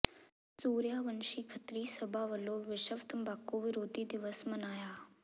ਸੂਰਿਆਵੰਸ਼ੀ ਖੱਤਰੀ ਸਭਾ ਵੱਲੋਂ ਵਿਸ਼ਵ ਤੰਬਾਕੂ ਵਿਰੋਧੀ ਦਿਵਸ ਮਨਾਇਆ